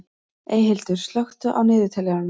Eyhildur, slökktu á niðurteljaranum.